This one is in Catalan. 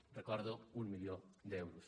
ho recordo un milió d’euros